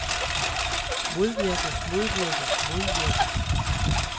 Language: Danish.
modvirke modvirke modvirke